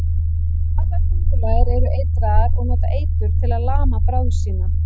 Allar köngulær eru eitraðar og nota eitur til að lama bráð sína.